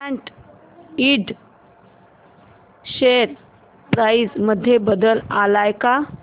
सॅट Ind share price मध्ये बदल आलाय का